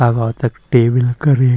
अघो तख टेबल करीं --